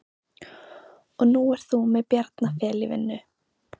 Og nú ert þú með Bjarna Fel í vinnu?